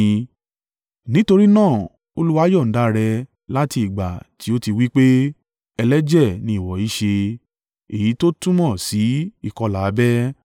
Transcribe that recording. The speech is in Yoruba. Nítorí náà Olúwa yọ̀ǹda rẹ láti ìgbà tí ó ti wí pé, “Ẹlẹ́jẹ̀ ni ìwọ í ṣe.” Èyí tó túmọ̀ sí ìkọlà abẹ́.